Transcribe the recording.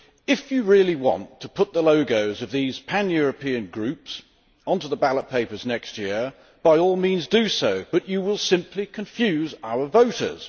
If you really want to put the logos of these pan European groups on the ballot papers next year, by all means do so, but you will simply confuse our voters.